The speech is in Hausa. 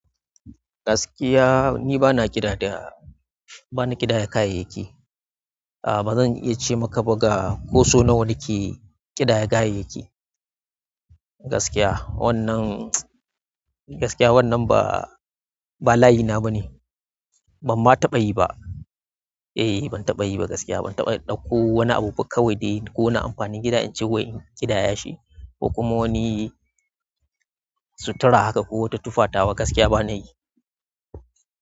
Gaskiya ni bana kiɗa da, bana kiɗaya kayayyaki. A bazan iya cemaka ba ga ko sau nawa nake kidaya kayayyaki. Gaskiya wannan, gaskiya wannan ba, ba layi na bane. Ban ma taɓa yi ba. Eh ban taɓa yi ba gaskiya ban taɓa ɗauko wani abu kawai dai ko na amfani gida in ce wai in kiɗaya shi ko kuma wani sutura haka ko wata tufa tawa haka gaskiya bana yi.